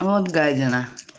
вот гадина